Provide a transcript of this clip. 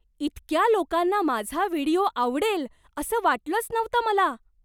इतक्या लोकांना माझा व्हिडिओ आवडेल असं वाटलंच नव्हतं मला!